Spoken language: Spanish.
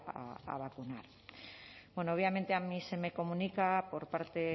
a vacunar bueno obviamente a mí se me comunica por parte